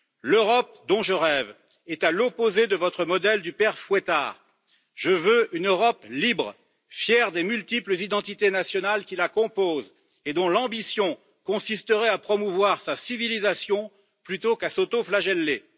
L'Europe dont je rêve est à l'opposé de votre modèle du Père Fouettard. Je veux une Europe libre, fière des multiples identités nationales qui la composent et dont l'ambition consisterait à promouvoir sa civilisation plutôt qu'à s'autoflageller.